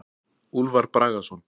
Úlfar Bragason.